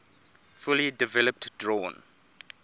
fully developed drawn